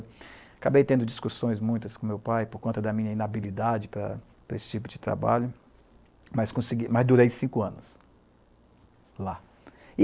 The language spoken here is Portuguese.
Acabei tendo discussões muitas com meu pai por conta da minha inabilidade para para esse tipo de trabalho, mas consegui, mas durei cinco anos lá.